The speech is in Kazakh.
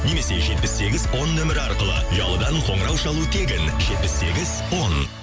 немесе жетпіс сегіз он нөмірі арқылы ұялыдан қоңырау шалу тегін жетпіс сегіз он